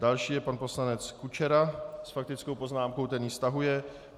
Další je pan poslanec Kučera s faktickou poznámkou - ten ji stahuje.